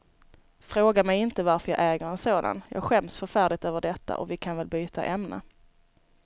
Fråga mig inte varför jag äger en sådan, jag skäms förfärligt över detta och vi kan väl byta ämne.